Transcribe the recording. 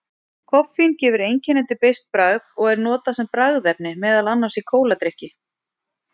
Koffín gefur einkennandi beiskt bragð og er notað sem bragðefni meðal annars í kóladrykki.